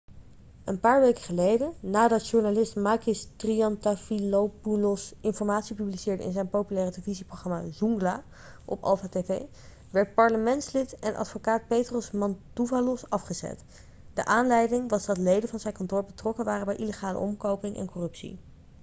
een paar weken geleden nadat journalist makis triantafylopoulos informatie publiceerde in zijn populaire televisieprogramma zoungla' op alpha tv werd parlementslid en advocaat petros mantouvalos afgezet de aanleiding was dat leden van zijn kantoor betrokken waren bij illegale omkoping en corruptie